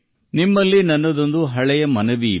ತದನಂತರ ನನ್ನ ಈ ಬಹುಕಾಲದ ಕೋರಿಕೆ ಇದೆ